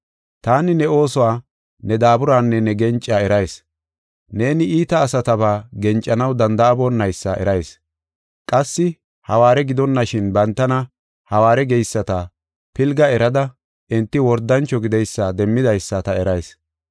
Taani ne oosuwa, ne daaburanne ne gencaa erayis. Neeni iita asataba gencanaw danda7aboonaysa erayis. Qassi hawaare gidonashin bantana, hawaare geyisata pilga erada enti wordancho gideysa demmidaysa ta erayis.